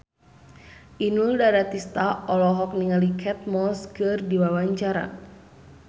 Inul Daratista olohok ningali Kate Moss keur diwawancara